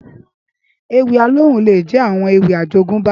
Éwì Alóhùn lé jè áwòn éwì àjógùnbá